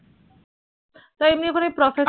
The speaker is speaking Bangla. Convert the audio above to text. তো এমনি ওখানে process